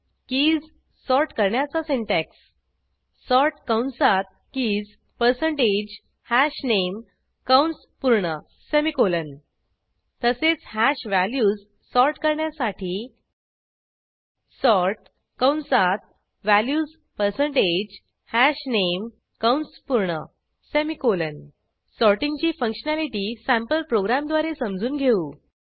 keys sort करण्याचा syntax sort कंसात keys percentage हशनामे कंस पूर्ण सेमिकोलॉन तसेच हॅश व्हॅल्यूज सॉर्ट करण्यासाठी सॉर्ट कंसातvalues पर्सेंटेज हशनामे कंस पूर्ण सेमिकोलॉन सॉर्टिंगची फंक्शनॅलिटी सँपल प्रोग्रॅमद्वारे समजून घेऊ